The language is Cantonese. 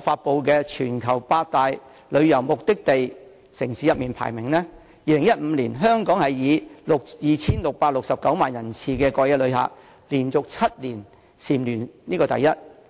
發布的"全球百大旅遊目的地城市"排名中，香港在2015年以 2,669 萬人次的過夜旅客，連續7年蟬聯第一。